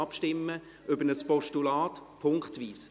Ich lasse jetzt punktweise über ein Postulat abstimmen.